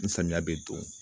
Ni samiya bɛ don